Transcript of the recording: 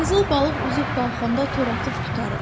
Qızıl balıq üzüb qalxanda tora atıb tutarıq.